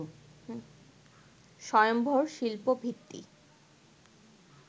স্বয়ম্ভর শিল্প ভিত্তি